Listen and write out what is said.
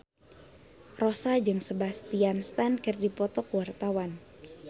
Rossa jeung Sebastian Stan keur dipoto ku wartawan